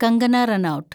Kangana Ranaut